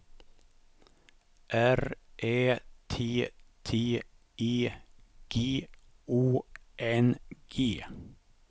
R Ä T T E G Å N G